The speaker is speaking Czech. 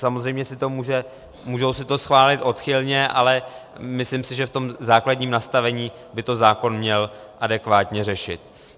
Samozřejmě si to můžou schválit odchylně, ale myslím si, že v tom základním nastavení by to zákon měl adekvátně řešit.